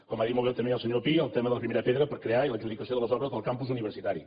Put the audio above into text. com ha dit molt bé també el senyor pi el tema de la primera pedra per crear i l’adjudicació de les obres del campus universitari